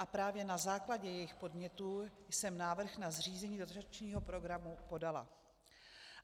A právě na základě jejich podnětů jsem návrh na zřízení dotačního programu podala.